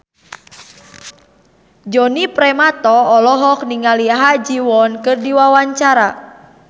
Djoni Permato olohok ningali Ha Ji Won keur diwawancara